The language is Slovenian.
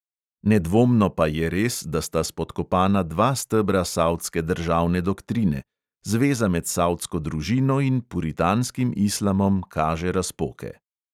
Nedvomno pa je res, da sta spodkopana dva stebra savdske državne doktrine – zveza med savdsko družino in puritanskim islamom kaže razpoke.